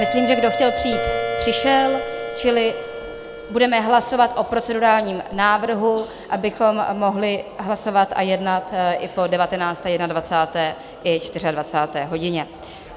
Myslím, že kdo chtěl přijít, přišel, čili budeme hlasovat o procedurálním návrhu, abychom mohli hlasovat a jednat i po 19., 21. i 24. hodině.